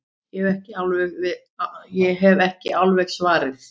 Ég hef ekki alveg svarið.